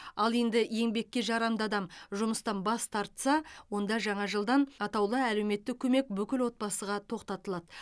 ал енді еңбекке жарамды адам жұмыстан бас тартса онда жаңа жылдан атаулы әлеуметтік көмек бүкіл отбасыға тоқтатылады